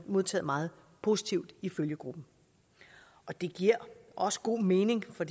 modtaget meget positivt i følgegruppen det giver også god mening for